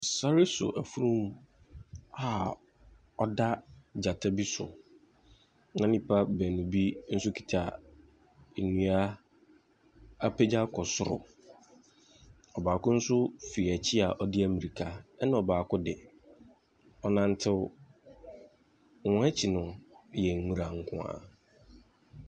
Sɔre hwɛ afurum a ɔda gyata bi so. Na nnipa baanu bi kita nnua apagya akɔ soro. Ɔbaako nso fi akyi a ɔde amirika. Na ɔbaako de, ɔrenante, wɔn akyi yɛ nnwura nko ara.